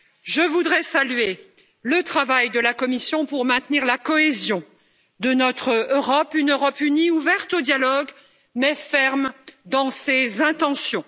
Je voudrais saluer le travail de la Commission pour maintenir la cohésion de notre Europe, une Europe unie, ouverte au dialogue mais ferme dans ses intentions.